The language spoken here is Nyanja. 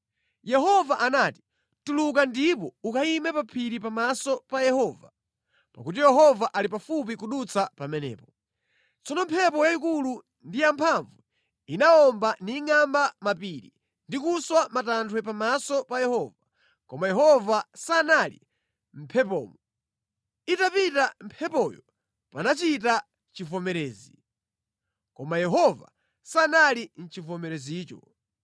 Yehova anati, “Tuluka ndipo ukayime pa phiri pamaso pa Yehova, pakuti Yehova ali pafupi kudutsa pamenepo.” Tsono mphepo yayikulu ndi yamphamvu inawomba ningʼamba mapiri ndi kuswa matanthwe pamaso pa Yehova, koma Yehova sanali mʼmphepomo. Itapita mphepoyo panachita chivomerezi, koma Yehova sanali mʼchivomerezicho.